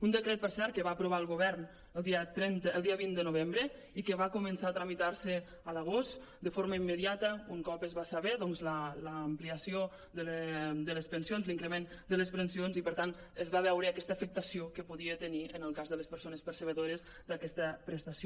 un decret per cert que va aprovar el govern el dia vint de novembre i que va començar a tramitar·se a l’agost de forma immediata un cop es va saber l’ampliació de les pensions l’increment de les pensions i per tant es va veure aquesta afectació que podia tenir en el cas de les persones perceptores d’aquesta prestació